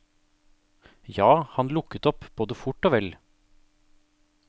Ja, han lukket opp både fort og vel.